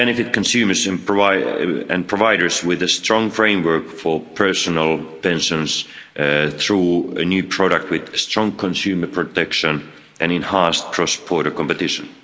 will benefit consumers and providers with a strong framework for personal pensions through a new product with strong consumer protection and enhanced cross border competition.